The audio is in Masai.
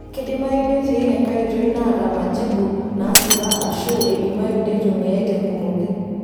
Keidimayu netii enkae oitoi naataba majibu naasipa aashu eidimayu neitumiyai tenkumoki.